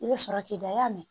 I bɛ sɔrɔ k'i da y'a minɛ